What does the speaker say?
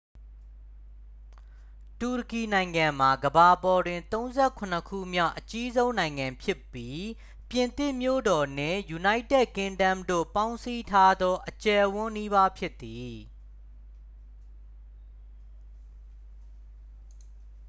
တူရကီနိုင်ငံမှာ ကမ္ဘာပေါ်တွင် 37 ခုမြောက် အကြီးဆုံးနိုင်ငံဖြစ်ပြီး ပြင်သစ်မြို့တော်နှင့် ယူနိုက်တက်ကင်းဒမ်းတို့ ပေါင်းစည်းထားသော အကျယ်အဝန်းနီးပါး ဖြစ်သည်